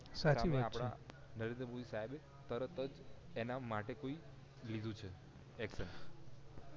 સાચી વાત છે એમાં આપણા નરેન્દ્ર મોદી સાહેબે તરત જ એના માટેથી લીધું છે action